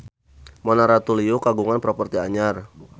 Mona Ratuliu kagungan properti anyar